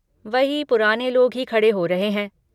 वही पुराने लोग ही खड़े हो रहे हैं।